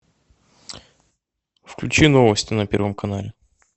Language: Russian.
включи новости на первом канале